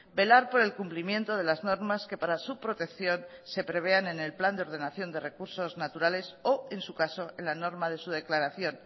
velar por el cumplimiento de las normas que para su protección se prevean en el plan de ordenación de recursos naturales o en su caso en la norma de su declaración